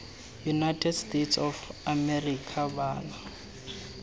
united states of america bana